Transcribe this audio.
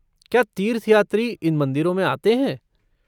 क्या तीर्थयात्री इन मंदिरों में आते हैं?